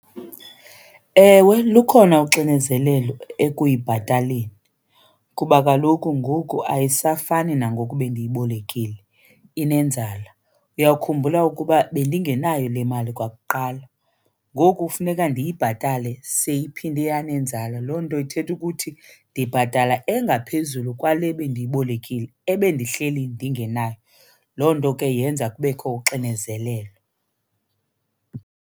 Ewe, lukhona uxinezelelo ekuyibhataleni kuba kaloku ngoku ayisafani nangoku bendiyibolekile, inenzala. Uyawukhumbula ukuba bendingenayo le mali kwakuqala ngoku funeka ndiyibhatale seyiphinde yanenzala. Loo nto ithetha ukuthi ndibhatala engaphezulu kwale bendiyibolekile ebendihleli ndingenayo, loo nto ke yenza kubekho uxinezelelo.